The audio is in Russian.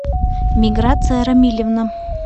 миграция рамильевна